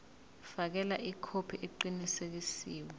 fakela ikhophi eqinisekisiwe